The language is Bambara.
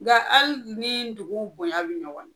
Nga hali ni dugu bonya bi ɲɔgɔn ɲɛ